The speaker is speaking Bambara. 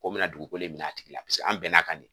Ko mina dugukolo in min'a tigi la paseke an bɛn'an kan de